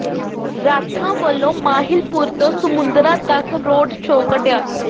ਰਾਠਾਂ ਵੱਲੋਂ ਮਾਹਿਲਪੁਰ ਤੋਂ ਸਮੁੰਦੜਾ ਤੱਕ ਰੋਡ ਸ਼ੋਅ ਕੱਢਿਆ